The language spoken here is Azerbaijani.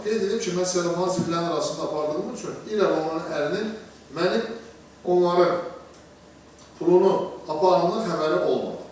Qeyd edib ki, mən sellafanı zibillərin arasında apardığım üçün İra və onun ərinin mənim onların pulunu apardığımdan xəbəri olmayıb.